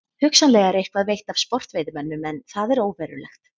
Hugsanlega er eitthvað veitt af sportveiðimönnum en það er óverulegt.